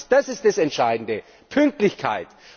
Das ist das Entscheidende Pünktlichkeit.